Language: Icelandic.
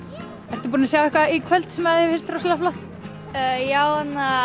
ertu búin að sjá eitthvað í kvöld sem þér finnst rosalega flott já